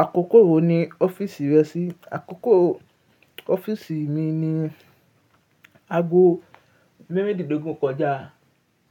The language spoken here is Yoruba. Àkókò wo ni ọ́fíìsì rẹ ṣí? Àkókò ọ́fíìsì mi ni ago mẹ́rìndínlógún kọjá